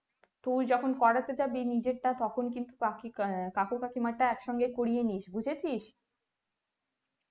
তুই যখন করতে জাবি নিজেরটা তখন কিন্তু কাকী আহ কাকু কাকিমারটা এক সঙ্গে করিয়েনিস বুজেছিস